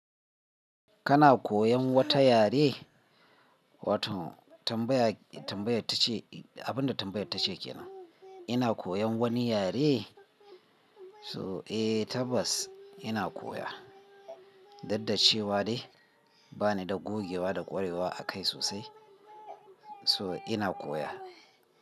Kana koyan wata yare? Wato tambaya, tambayar tace abinda tambayar tace ke nan. Ina koyan wani yare? So eh tabbas ina koya, daddace wa ne bani da gogewa da kwarewa akai sosai. So ina koya.